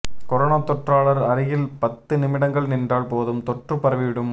corona தொற்றாளர் அருகில் பத்து நிமிடங்கள் நின்றால் போதும் தொற்று பரவிவிடும்